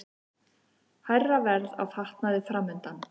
Hærra verð á fatnaði framundan